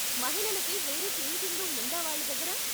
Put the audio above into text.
మహిళలకి వేరే changing room ఉందా వాళ్ళ దగ్గర?